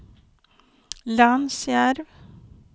Lansjärv